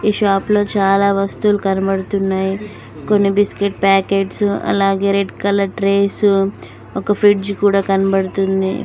ఈ షాప్ లో చాలా వస్తువులు కనబడుతున్నాయి కొన్ని బిస్కెట్ ప్యాకెట్స్ అలాగే రెడ్ కలర్ డ్రెస్ ఒక ఫ్రిడ్జ్ కూడా కనపడుతుంది.